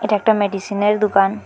এটা একটা মেডিসিনের দুকান ।